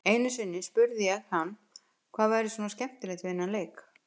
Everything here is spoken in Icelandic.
Einu sinni spurði ég hann hvað væri svona skemmtilegt við þennan leik.